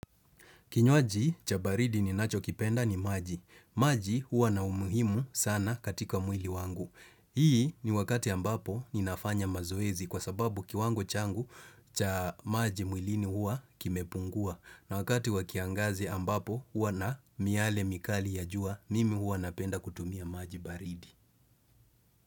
Kinywaji cha baridi ninachokipenda ni maji. Maji huwa na umuhimu sana katika mwili wangu. Hii ni wakati ambapo ninafanya mazoezi kwa sababu kiwango changu cha maji mwilini huwa kimepungua. Na wakati wa kiangazi ambapo huwa na miale mikali ya jua mimi huwa napenda kutumia maji baridi.